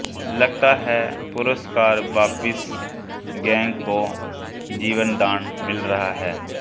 लगता है पुरस्कार वापसी गैंग को जीवनदान मिल रहा है